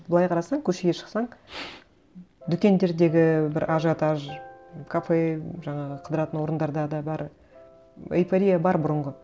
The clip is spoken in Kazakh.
былай қарасаң көшеге шықсаң дүкендердегі бір ажиотаж кафе жаңағы қыдыратын орындарда да бәрі эйфория бар бұрынғы